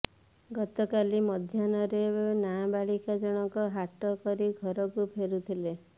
ଗତକାଲି ମଧ୍ୟାହ୍ନରେ ନାବାଳିକା ଜଣକ ହାଟ କରି ଘରକୁ ଫେରୁଥିଲେ